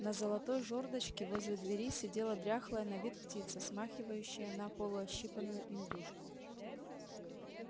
на золотой жёрдочке возле двери сидела дряхлая на вид птица смахивающая на полуощипанную индюшку